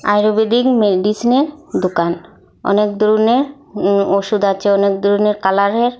আর এ উইদিং মেডিসনের দোকান অনেক ধরনের উ ওষুধ আছে অনেক ধরনের কালারের।